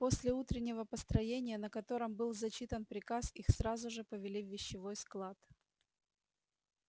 после утреннего построения на котором был зачитан приказ их сразу же повели в вещевой склад